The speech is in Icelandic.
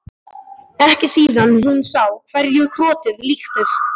Ekki síðan hún sá hverju krotið líktist.